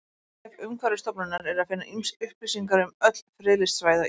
Á vef Umhverfisstofnunar er að finna upplýsingar um öll friðlýst svæði á Íslandi.